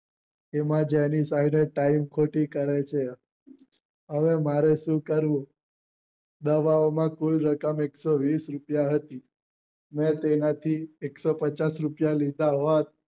તેમાં જ time ખોટી કરે છે આવો મારો સ્વીકાર્યો દવા ઓ માં કુલ રકમ એકસો વિષ રૂપિયા હતી મેં તેમાંથી એકસો પચાસ રૂપિયા લીધા